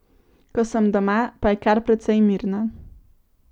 Ko sem doma, pa je kar precej mirno.